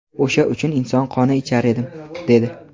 o‘sha uchun inson qoni ichar edim, – dedi.